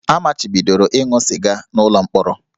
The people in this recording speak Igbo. A machibidoro ịṅụ sịga n'ụlọ mkpọrọ